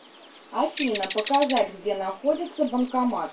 афина показать где находится банкомат